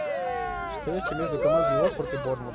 встреча между командами уотфорд и борнмут